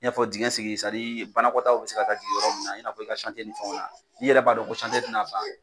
I n'a fɔ dingɛ sengi banakɔtaw bɛ se ka taa jigin yɔrɔ min na i n'a fɔ i ka ni fɛnw na n'i yɛrɛ b'a dɔn ko tɛna ban